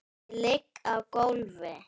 Ég ligg á gólfi.